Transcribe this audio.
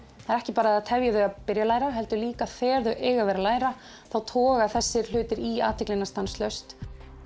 það er ekki bara að það tefji þau að byrja að læra heldur líka þegar þau eiga að vera læra þá toga þessir hlutir í athyglina stanslaust